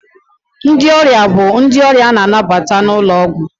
Ndị ọrịa bụ ndị ọrịa na-anabata n'ụlọ ọgwụ.